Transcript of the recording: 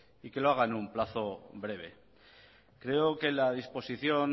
y que lo haga en un plazo breve creo que la disposición